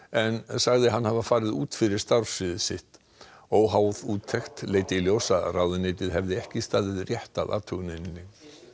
en sagði hann hafa farið út fyrir starfssvið sitt óháð úttekt leiddi í ljós að ráðuneytið hefði ekki staðið rétt að athuguninni